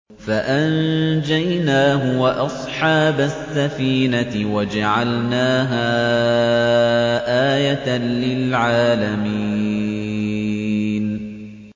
فَأَنجَيْنَاهُ وَأَصْحَابَ السَّفِينَةِ وَجَعَلْنَاهَا آيَةً لِّلْعَالَمِينَ